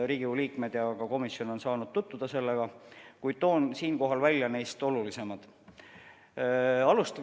Riigikogu liikmed ja ka komisjon on saanud nendega tutvuda, kuid toon siinkohal välja neist olulisimad.